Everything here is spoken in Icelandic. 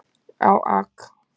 á Ak.